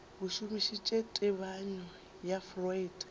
a šomišitše tebanyo ya freud